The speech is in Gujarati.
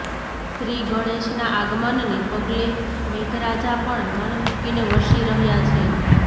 શ્રી ગણેશના આગમનને પગલે મેઘરાજા પણ મનમૂકીને વરસી રહ્યા છે